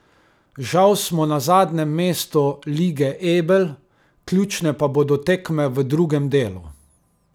Žal smo na zadnjem mestu Lige Ebel, ključne pa bodo tekme v drugem delu.